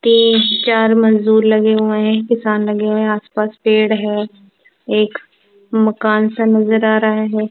तीन चार मजदूर लगे हुए हैं एक किसान लगे हुए हैं आसपास पेड़ हैं एक मकानसा नजर आ रहा हैं।